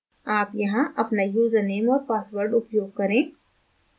आप यहाँ अपना यूज़रनेम और password उपयोग करें